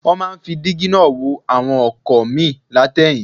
Wọ́n máa ń fi dígí náà wo àwọn ọkọ̀ míì láti ẹ̀yìn